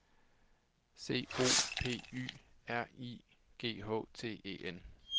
C O P Y R I G H T E N